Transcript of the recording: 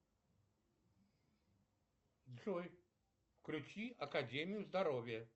джой включи академию здоровья